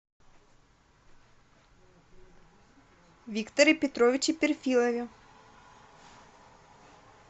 викторе петровиче перфилове